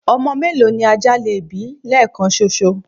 ọmọ mélòó ni ajá lè bí lẹẹkan ṣoṣo?